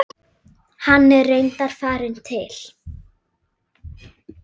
Hann er reyndar farinn til